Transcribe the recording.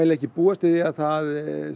ekki búast við því að það